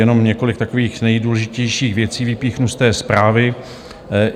Jenom několik takových nejdůležitějších věcí vypíchnu z té zprávy.